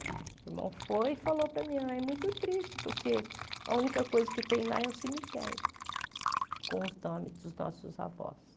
O meu irmão foi e falou para a minha mãe, muito triste, porque a única coisa que tem lá é o cemitério, com os nomes dos nossos avós.